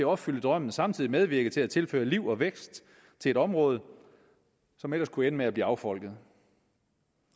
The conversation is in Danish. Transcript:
opfylde drømmen samtidig medvirke til at tilføre liv og vækst til et område som ellers kunne ende med at blive affolket